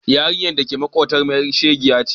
Yarinyar da ke maƙotanmu ƴar shegiya ce.